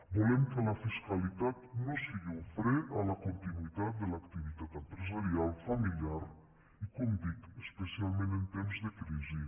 volem que la fiscalitat no sigui un fre a la continuïtat de l’activitat empresarial familiar i com dic especialment en temps de crisi